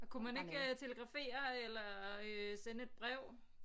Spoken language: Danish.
Kunne man ikke telegrafere eller øh sende et brev